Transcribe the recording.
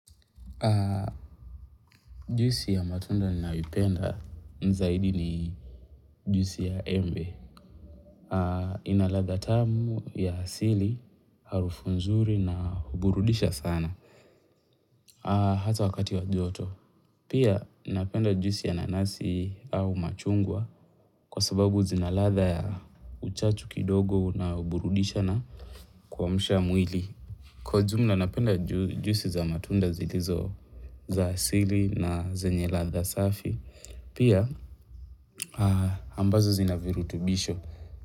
Jusi ya matunda nayo ipenda zaidi ni jusi ya embe. Inaladha tamu ya asili, harufu nzuri na huburudisha sana. Hata wakati wa joto. Pia napenda jusi ya nanasi au machungwa kwa sababu zinaladha ya uchachu kidogo na huburudisha na kua mshamwili. Kwa jumla na napenda jusi za matunda zilizo za asili na zenye latha safi. Pia ambazo zina virutubisho.